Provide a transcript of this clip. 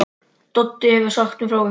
Doddi hefur sagt mér frá ykkur.